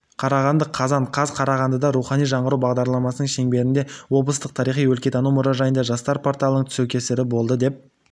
қарағанды қазан қаз қарағандыда рухани жаңғыру бағдарламасының шеңберінде облыстық тарихи-өлкетану мұражайында жастар порталының тұсаукесері болды деп